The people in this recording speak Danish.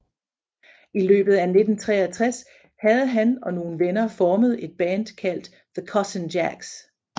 I løbet af 1963 havde ham og nogle venner formet et band kaldt The Cousin Jacks